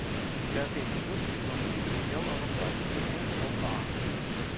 пятый эпизод сезон семь сериал аватар легенда об аанге